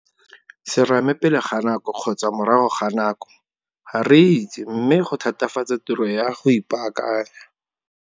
Serame pele ga nako kgotsa morago ga nako? Ga re itse mme go thatafatsa tiro ya go ipaakanya.